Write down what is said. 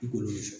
I k'olu fɛ